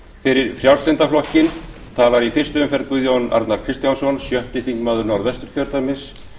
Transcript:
fyrir frjálslynda flokkinn talar í fyrstu umferð guðjón arnar kristjánsson sjötti þingmaður norðvesturkjördæmis